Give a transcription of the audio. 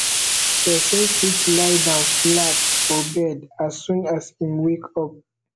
person fit lie down flat for bed as soon as im wake up